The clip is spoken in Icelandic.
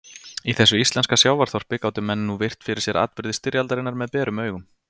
Í þessu íslenska sjávarþorpi gátu menn nú virt fyrir sér atburði styrjaldarinnar með berum augum.